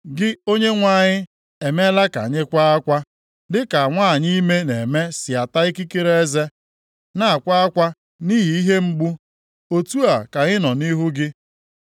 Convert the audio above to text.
Gị, Onyenwe anyị, emeela ka anyị kwaa akwa, dị ka nwanyị ime na-eme si ata ikikere eze na akwa akwa nʼihi ihe mgbu. Otu a ka anyị nọ nʼihu gị.